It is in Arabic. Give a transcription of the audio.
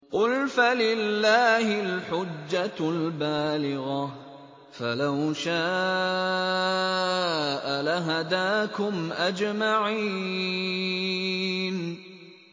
قُلْ فَلِلَّهِ الْحُجَّةُ الْبَالِغَةُ ۖ فَلَوْ شَاءَ لَهَدَاكُمْ أَجْمَعِينَ